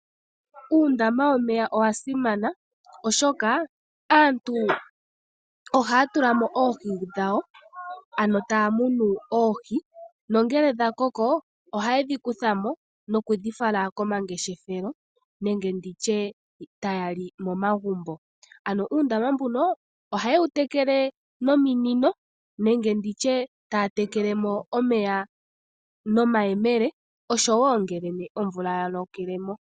Uundama womeya owa simana, oshoka aantu ohaa tula mo oohi dhawo ano taa munu oohi, nongele dha koko ohaye dhi kutha mo nokudhi fala komangeshefelo nenge nditye taya li momagumbo. Ano uundama mbuno ohaye wu tekele nominino, nenge nditye taya tekele mo omeya nomayemele, osho wo ngele omvula ya lokele mo.